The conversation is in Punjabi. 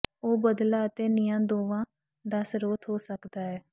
ਉਹ ਬਦਲਾ ਅਤੇ ਨਿਆਂ ਦੋਵਾਂ ਦਾ ਸਰੋਤ ਹੋ ਸਕਦਾ ਹੈ